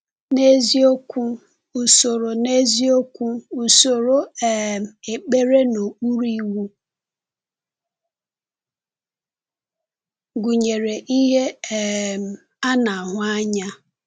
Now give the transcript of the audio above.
N’eziokwu, usoro N’eziokwu, usoro um ekpere n’okpuru Iwu gụnyere ihe um a na-ahụ anya.